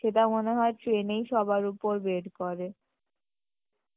সেটা মনে হয় train এই সবার উপর বের করে